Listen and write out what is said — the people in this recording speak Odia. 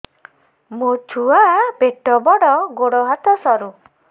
ମୋ ଛୁଆ ପେଟ ବଡ଼ ଗୋଡ଼ ହାତ ସରୁ